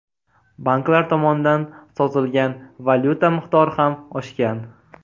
Banklar tomonidan sotilgan valyuta miqdori ham oshgan.